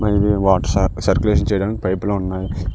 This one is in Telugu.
పైన వాటర్ సర్కులేషన్ చేయడానికి పైపులు ఉన్నాయి